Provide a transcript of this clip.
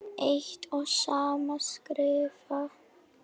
eitt og sama skrifa